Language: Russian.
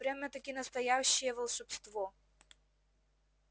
прямо-таки настоящее волшебство